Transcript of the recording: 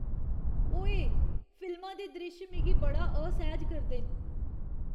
ओऐऽ! फिल्मा दे द्रिश्श मिगी बड़ा असैह्ज करदे न।